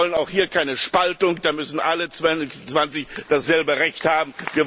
Wir wollen auch hier keine Spaltung, da müssen alle 26 dasselbe Recht haben.